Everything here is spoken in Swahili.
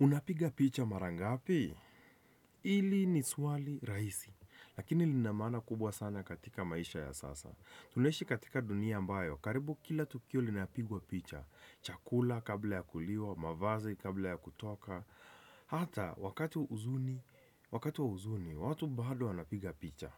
Unapiga picha mara ngapi? Ili ni swali rahisi, lakini lina maana kubwa sana katika maisha ya sasa. Tunaishi katika dunia ambayo, karibu kila tukio linapigwa picha. Chakula kabla ya kuliwa, mavazi kabla ya kutoka. Hata, wakati huzuni, wakati wa huzuni, watu bado wanapiga picha.